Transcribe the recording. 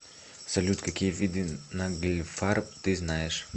салют какие виды нагльфар ты знаешь